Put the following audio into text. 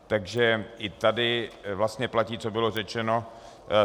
Takže i tady vlastně platí, co bylo řečeno.